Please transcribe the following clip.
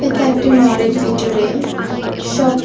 এটা একটি মলের ভিতরে শপ ।